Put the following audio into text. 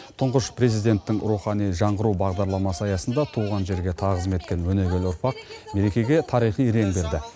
тұңғыш президенттің рухани жаңғыру бағдарламасы аясында туған жерге тағзым еткен өнегелі ұрпақ мерекеге тарихи реңк берді